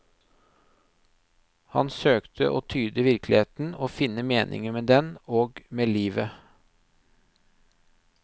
Han søkte å tyde virkeligheten, å finne meningen med den og med livet.